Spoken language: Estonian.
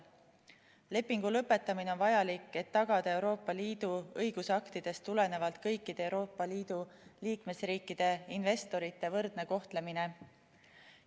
Lepingu lõpetamine on vajalik, et tagada Euroopa Liidu õigusaktidest tulenevalt kõikide Euroopa Liidu liikmesriikide investorite võrdne kohtlemine.